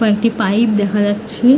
কয়েকটি পাইপ দেখা যাচ্ছে ।